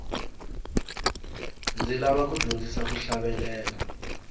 ndzi lava ku dyondzisiwa ku hlavelela